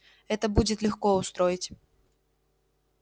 это будет легко устроить